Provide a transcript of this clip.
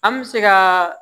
An bɛ se ka